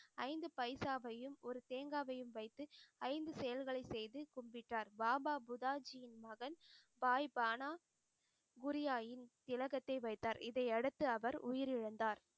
ஐந்து பைசாவையும் ஒரு தேங்காவையும் வைத்து ஐந்து செயல்களை செய்து கும்பிட்டார். பாபா புதாஜியின் மகன் வாய் பானா புரியாயின் திலகத்தை வைத்தார் இதையடுத்து அவர் உயிரிழந்தார்.